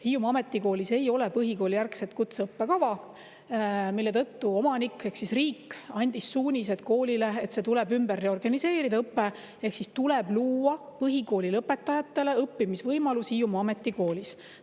Hiiumaa Ametikoolis ei ole põhikoolijärgset kutseõppekava, mille tõttu omanik ehk riik andis suunised koolile, et see tuleb reorganiseerida, tuleb luua põhikooli lõpetajatele õppimisvõimalus Hiiumaa Ametikoolis.